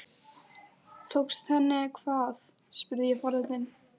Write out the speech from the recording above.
Tókst henni hvað? spurði ég forvitin.